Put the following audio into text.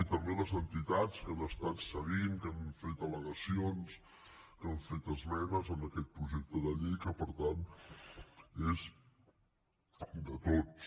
i també a les entitats que ho han estat seguint que han fet al·legacions que han fet esmenes en aquest projecte de llei que per tant és de tots